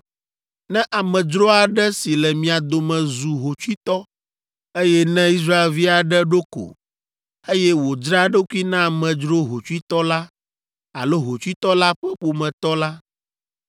“ ‘Ne amedzro aɖe si le mia dome zu hotsuitɔ, eye ne Israelvi aɖe ɖo ko, eye wòdzra eɖokui na amedzro hotsuitɔ la alo hotsuitɔ la ƒe ƒometɔ la,